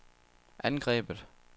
angrebet